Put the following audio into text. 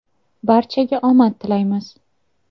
Barchaga omad tilaymiz.